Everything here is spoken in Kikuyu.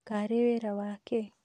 Karĩ wĩra wa kĩĩ?